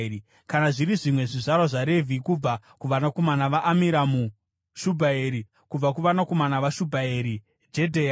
Kana zviri zvimwe zvizvarwa zvaRevhi: kubva kuvanakomana vaAmiramu, Shubhaeri; kubva kuvanakomana vaShubhaeri: Jedheya.